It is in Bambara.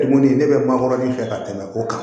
Koni ne bɛ mankɔrɔnin fɛ ka tɛmɛ o kan